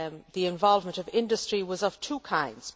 The involvement of industry was of two kinds.